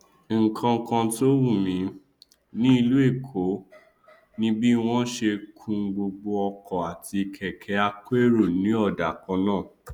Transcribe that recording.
nkankan tó wùmí ní ìlú èkó ni bí wọn ṣe kun gbogbo ọkọ àti kẹkẹ akérò ní ọdà kannáà